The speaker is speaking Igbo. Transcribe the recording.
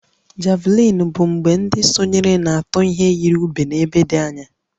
Javelin bụ mgbe ndị sonyere na-eji ihe yiri ube n'ebe dị anya